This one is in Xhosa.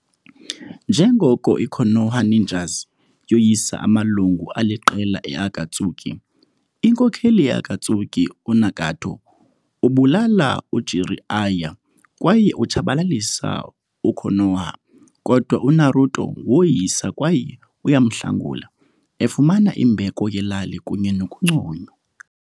Njengoko i-Konoha ninjas yoyisa amalungu aliqela e-Akatsuki, inkokheli ye-Akatsuki, u-Nagato, ubulala u-Jiraiya kwaye utshabalalisa u-Konoha, kodwa u-Naruto woyisa kwaye uyamhlangula, efumana imbeko yelali kunye nokunconywa.